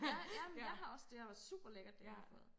Ja ja men jeg har også det har været superlækkert det jeg har fået